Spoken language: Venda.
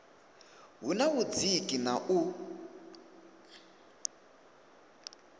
hu na vhudziki na u